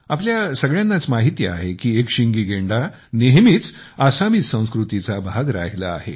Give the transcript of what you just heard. आपल्या सगळ्यांनाच माहिती आहे की एकशिंगी गेंडा नेहमीच आसामी संस्कृतीचा भाग राहिला आहे